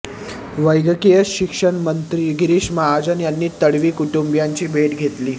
वैद्यकीय शिक्षण मंत्री गिरीश महाजन यांनी तडवी कुटुंबीयांची भेट घेतली